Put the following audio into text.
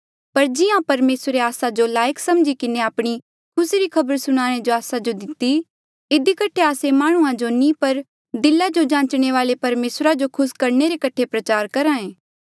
पर जिहां परमेसरे आस्सा जो लायक समझी किन्हें आपणी खुसी री खबर आस्सा जो दिती इधी कठे आस्से माह्णुंआं जो नी पर दिला जो जांचने वाले परमेसरा जो खुस करणे रे कठे प्रचार करहा ऐें